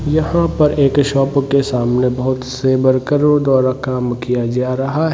यहाँ पर एक शॉप के सामने बोहोत से वर्करो द्वारा काम किया जा रहा है। ।